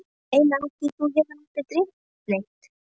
Ég meina af því mig hefur aldrei dreymt neitt.